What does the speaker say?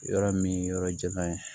Yɔrɔ min yɔrɔ jan ye